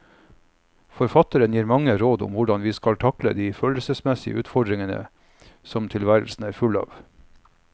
Forfatteren gir mange råd om hvordan vi skal takle de følelsesmessige utfordringer som tilværelsen er full av.